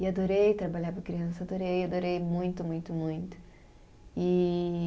E adorei trabalhar para criança, adorei, adorei muito, muito, muito. E